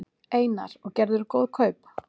Einar: Og gerðirðu góð kaup?